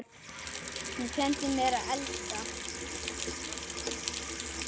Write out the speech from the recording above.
Hún kenndi mér að elska.